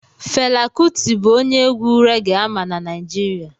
Fela kuti bụ onye egwu reggae ama na Naịjirịa